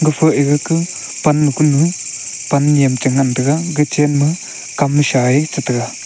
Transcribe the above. ega ka pannu kunu pan nyem che ngan tega ga chen ma kamsa a che tega.